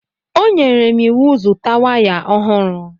O nyere m iwu zụta waya ọhụrụ.